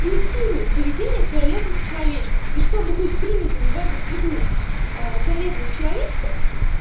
имитируют поведение фиолетовых человечков и чтобы быть принятыми в эту среду фиолетовых человечков